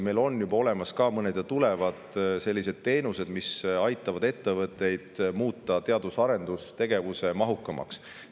Meil on juba olemas ja tulevad veel mõned sellised teenused, mis aitavad muuta ettevõtteid teadus- ja arendustegevusmahukamaks.